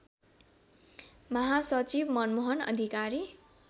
महासचिव मनमोहन अधिकारी